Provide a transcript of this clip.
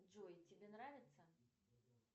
джой тебе нравится